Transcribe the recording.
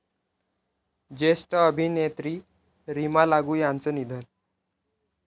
ज्येष्ठ अभिनेत्री रीमा लागू यांचं निधन